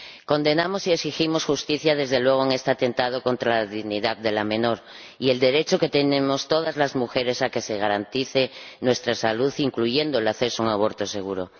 Condenamos y exigimos justicia, desde luego, en este atentado contra la dignidad de la menor, y exigimos el derecho que tenemos todas las mujeres a que se garantice nuestra salud, incluyendo el acceso a un aborto seguro.